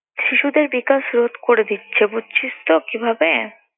শিশুদের বিকাশ রোধ করে দিচ্ছে। বুঝছিস তো কিভাবে?